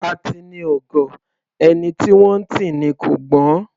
Atini ò gọ̀; ẹni tí wọ́n ńtì ni kò gbọ́n.